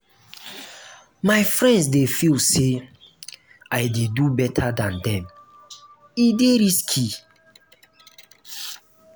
my friends dey feel say i dey do beta dan dem e dey risky.